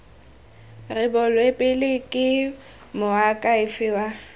rebolwe pele ke moakhaefe wa